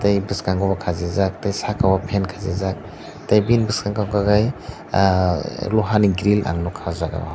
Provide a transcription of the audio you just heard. tai bwskango khasijak saka o fan khasi jak tai nini bwskango unk kai ahh luha ni grill nugkha aw jaaga o.